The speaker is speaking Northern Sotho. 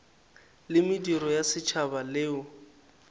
la mediro ya setšhaba leo